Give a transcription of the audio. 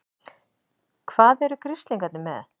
HVAÐ ERU GRISLINGARNIR MEÐ?